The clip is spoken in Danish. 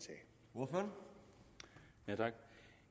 og for